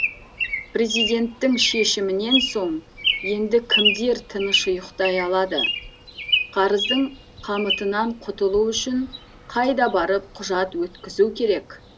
президенттің шешімінен соң енді кімдер тыныш ұйықтай алады қарыздың қамытынан құтылу үшін қайда барып құжат өткізу керек